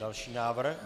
Další návrh.